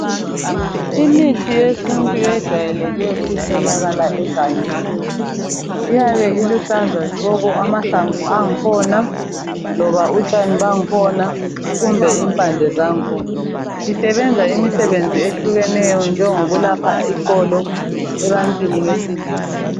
Imithi yesintu ejayeleke ukutholakala engangeni iyabe iluhlaza tshoko amahlamvu angakhona loba utshani bangakhona kumbe impande zangakhona, sisebenza imsebenzi ehlukeneyo njengokulapha iqolo ebantwini besilisa.